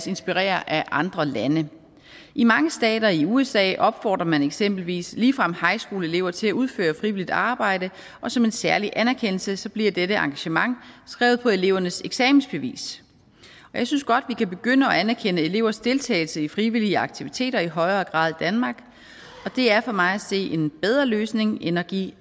inspirere af andre lande i mange stater i usa opfordrer man eksempelvis ligefrem high school elever til at udføre frivilligt arbejde og som en særlig anerkendelse bliver dette engagement skrevet på elevernes eksamensbeviser jeg synes godt at vi kan begynde at anerkende elevers deltagelse i frivillige aktiviteter i højere grad danmark det er for mig at se en bedre løsning end at give